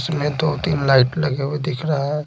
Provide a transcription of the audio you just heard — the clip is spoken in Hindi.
इसमें दो -तीन लाइट लगे हुए दिख रहे हैं।